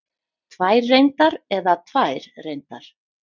Tvær reyndar eða tvær reyndar?